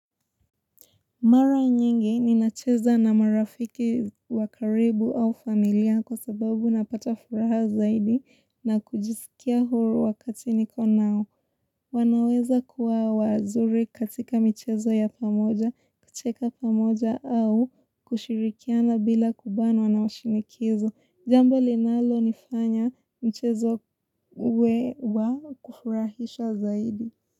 Mara nyingi ninacheza na marafiki wa karibu au familia kwa sababu napata furaha zaidi na kujisikia huru wakati niko nao. Wanaweza kuwa wazuri katika michezo ya pamoja, kucheka pamoja au kushirikiana bila kubanwa na washinikizo. Jambo linalo nifanya mchezo uwe wa kufurahisha zaidi.